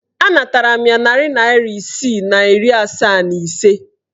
Anatara m ya narị naịra isii na iri asaa na ise.